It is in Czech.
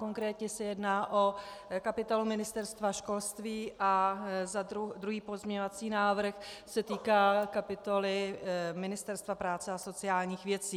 Konkrétně se jedná o kapitolu Ministerstva školství a druhý pozměňovací návrh se týká kapitoly Ministerstva práce a sociálních věcí.